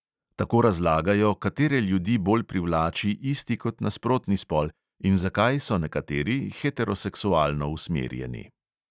Tako razlagajo, katere ljudi bolj privlači isti kot nasprotni spol in zakaj so nekateri heteroseksualno usmerjeni.